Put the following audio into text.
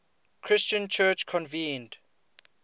christian church convened